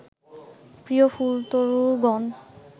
প্রিয় ফুলতরুগণ